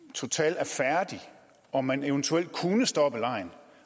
total er færdig og man eventuelt kunne stoppe legen